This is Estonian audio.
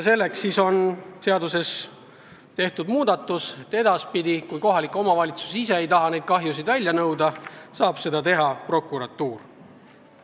Selleks soovime seaduses teha muudatuse, et edaspidi, kui kohalik omavalitsus ise ei taha niisuguseid kahjusid välja nõuda, saab seda teha prokuratuur.